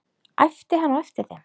æpti hann á eftir þeim.